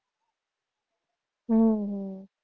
હમ હમ